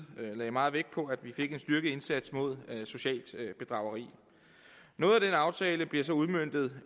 lagde meget vægt på at man fik en styrket indsats mod socialt bedrageri noget af den aftale bliver så udmøntet